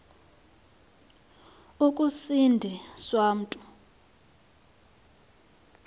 ukusindi swa mntu